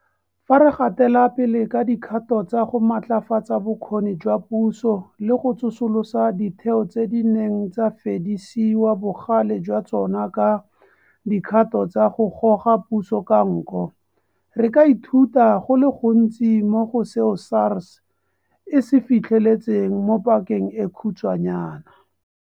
Fa re gatela pele ka dikgato tsa go matlafatsa bokgoni jwa puso le go tsosolosa ditheo tse di neng tsa fedisiwa bogale jwa tsona ka dikgato tsa go goga puso ka nko, re ka ithuta go le gontsi mo go seo SARS e se fitlheletseng mo pakeng e khutshwanyana.